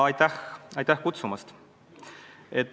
Aitäh kutsumast!